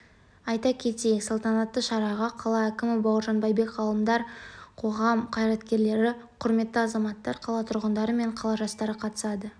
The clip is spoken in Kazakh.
айта кетейік салтанатты шараға қала әкімі бауыржан байбек ғалымдар қоғам қайраткерлері құрметті азаматтар қала тұрғындары мен қала жастары қатысады